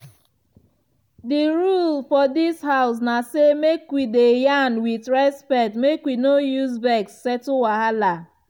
di rule for dis house na say make we dey yarn with respect make we no use vex settle wahala.